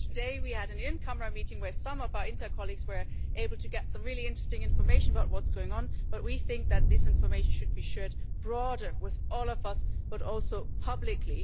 Just today we had an in camera meeting where some of our INTA colleagues were able to get some really interesting information about what's going on, but we think that this information should be shared broader, with all of us but also publicly.